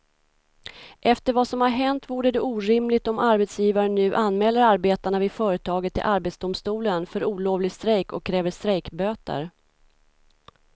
Efter vad som har hänt vore det orimligt om arbetsgivaren nu anmäler arbetarna vid företaget till arbetsdomstolen för olovlig strejk och kräver strejkböter.